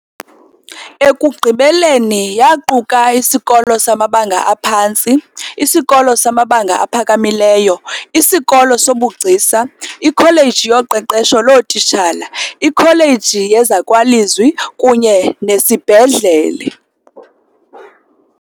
Ekugqibeleni yaquka isikolo samabanga aphantsi, isikolo samabanga aphakamileyo, isikolo sobugcisa, ikholeji yoqeqesho lootitshala, ikholeji yezakwalizwi kunye nesibhedlele.